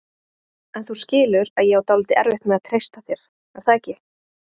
En þú skilur að ég á dálítið erfitt með að treysta þér, er það ekki?